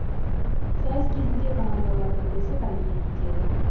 сайыс кезінде командалар бірлесіп әрекет етеді